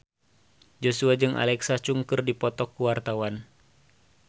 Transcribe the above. Joshua jeung Alexa Chung keur dipoto ku wartawan